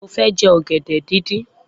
Mo fẹ́ jẹ ọ̀gẹ̀dẹ̀ díndín.